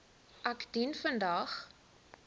ek dien vandag